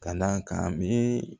Ka d'a kan a miiri